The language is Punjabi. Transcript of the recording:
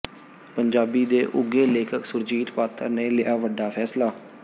ਪੰਜਾਬੀ ਦੇ ਉਘੇ ਲੇਖਕ ਸੁਰਜੀਤ ਪਾਤਰ ਨੇ ਲਿਆ ਵੱਡਾ ਫੈਸਲਾ